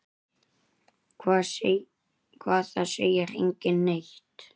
Hvað, það segir enginn neitt.